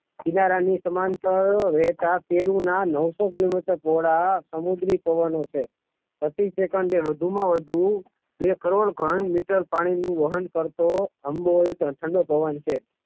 કિનારાની સમાંતર રહેતા શેરૂના નવસો કિલોમીટર પહોળા સમુદ્રી પવન છે પ્રતિ સેકન્ડે વધુમાં વધુ બે કરોડ ઘન મીટર પાણીનું વહન કરતો આટલો ઠંડો પવન છે.